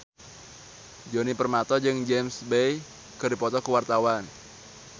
Djoni Permato jeung James Bay keur dipoto ku wartawan